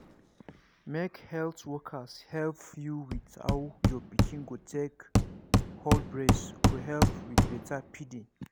make health workers help you with how your pikin go take hold breast go help with better feeding.